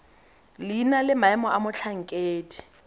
leina le maemo a motlhankedi